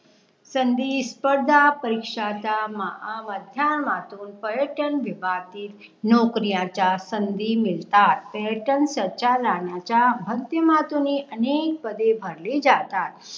संधी स्पर्धा परीक्षाचा महा माध्यमातूम पर्यटन विभागीत नौकरी च्या संधी मिळतात. पर्यटन संचालनाच्या माध्यमातून हि अनेक पदे भरली जातात